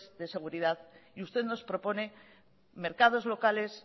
de seguridad y usted nos propone mercados locales